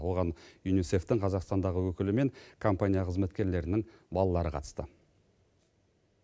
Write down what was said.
оған юнисеф тің қазақстандағы өкілі мен компания қызметкерлерінің балалары қатысты